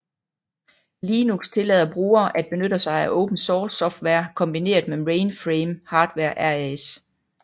Linux tillader brugere at benytte sig af open source software kombineret med mainframe hardware RAS